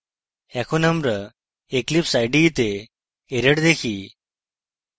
এখন আমরা eclipse ide তে error দেখি